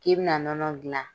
I bina nɔnɔ dilan.